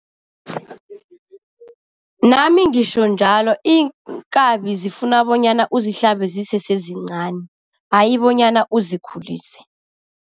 Nami ngisho njalo. Iinkabi zifuna bonyana uzihlabe zisesezincani hayi bonyana uzikhulise.